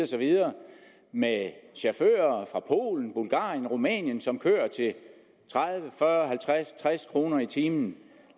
så videre med chauffører fra polen bulgarien rumænien som kører til tredive fyrre halvtreds tres kroner i timen